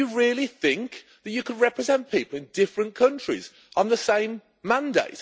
Do you really think you can represent people in different countries on the same mandate?